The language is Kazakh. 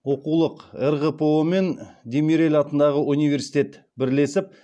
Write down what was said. оқулық рғпо мен демирель атындағы университет бірлесіп